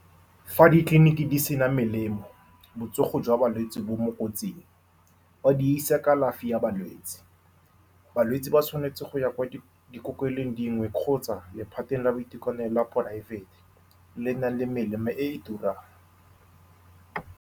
Fa ditleliniki di sena melemo, botsogo jwa balwetsi bo mo kotsing fa di isa kalafi ya balwetse. Balwetse ba tshwanetse go ya kwa dikokelong dingwe kgotsa lephateng la boitekanelo ya private, le le nang le melemo e e turang.